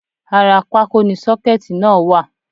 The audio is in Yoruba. Ara pákó ni sọ́kẹ̀tì náà wà